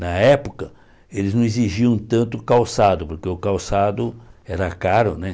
Na época, eles não exigiam tanto calçado, porque o calçado era caro, né?